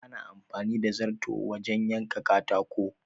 Ana amfani da zarto wajen yanka katako